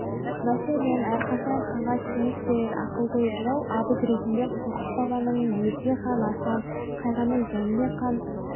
мәселен әрқашан ханға кеңес берер ақылгөй жырау абыз ретінде қорқыт бабаның дерсе хан асан қайғының жәнібек хан